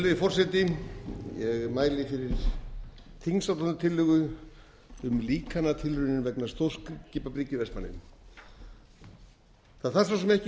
virðulegi forseti ég mæli fyrir þingsályktunartillögu um líkantilraunir vegna stórskipabryggju í vestmannaeyjum það þarf svo sem ekki í